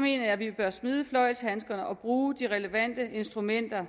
mener jeg at vi bør smide fløjlshandskerne og bruge de relevante instrumenter